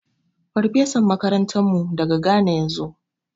Farfesan makarantarmu daga Ghana ya zo.